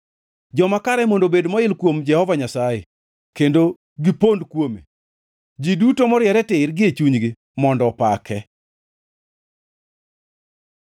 Joma kare mondo obed moil kuom Jehova Nyasaye kendo gipondo kuome; ji duto moriere tir gie chunygi mondo opake!